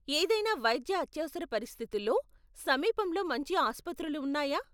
ఏదైనా వైద్య అత్యవసర పరిస్థితుల్లో, సమీపంలో మంచి ఆసుపత్రులు ఉన్నాయా?